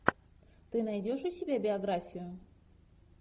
ты найдешь у себя биографию